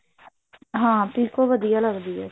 ਹਾਂ ਪਿਕੋ ਵਧੀਆ ਲੱਗਦੀ ਹੈ